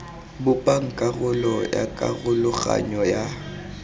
bopang karolo ya karologanyo ya